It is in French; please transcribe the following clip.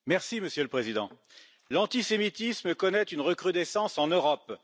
Monsieur le Président, l'antisémitisme connaît une recrudescence en Europe.